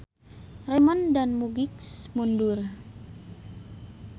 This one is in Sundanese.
Raymond dan Mugix mundur.